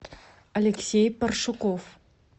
алексей паршуков